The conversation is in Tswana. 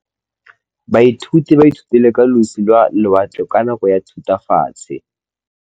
Baithuti ba ithutile ka losi lwa lewatle ka nako ya Thutafatshe.